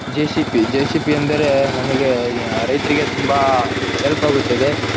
JCB ಅಂದ್ರೆ ನಮಗೆ ರೈತರಿಗೆ ತುಂಬಾ ಹೆಲ್ಪ್ ಆಗುತ್ತದೆ.